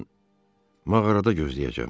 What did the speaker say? Mən mağarada gözləyəcəm.